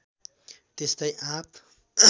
त्यस्तै आँप